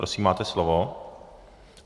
Prosím, máte slovo.